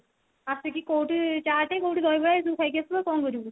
ଆସିକି କୋଊଠି ଚାଟ କୋଉଠି ଦହିବରା ଏଇ ସବୁ ଖାଇକି ଆସୁ ଆଉ କଣ କରିବୁ